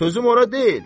Sözüm ora deyil.